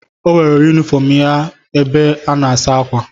Ọ wegara yunifọm ya ebe a na-asa ákwà.